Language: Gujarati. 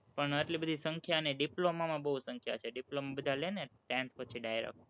પણ એટલી બધી સંખ્યા નહીં, diploma માં બોવ સંખ્યા છે, diploma બધા લે ને ten પછી direct